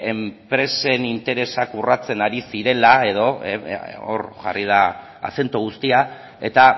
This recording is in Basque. enpresen interesak urratzen ari zirela edo hor jarri da azento guztia eta